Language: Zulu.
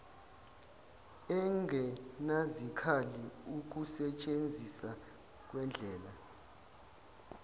engenazikhali ukusentshenzisa kwendlela